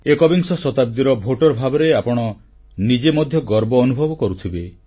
ଏକବିଂଶ ଶତାବ୍ଦୀର ଭୋଟର ଭାବରେ ଆପଣ ନିଜେ ମଧ୍ୟ ଗର୍ବ ଅନୁଭବ କରୁଥିବେ